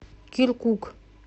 киркук